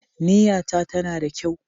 Niyyata tana da kyau.